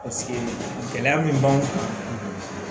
gɛlɛya min b'anw kan